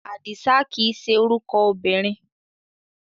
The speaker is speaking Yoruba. Àdìsá kìí ṣe orúkọ obìnrin.